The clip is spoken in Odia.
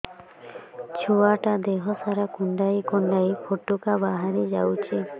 ଛୁଆ ଟା ଦେହ ସାରା କୁଣ୍ଡାଇ କୁଣ୍ଡାଇ ପୁଟୁକା ବାହାରି ଯାଉଛି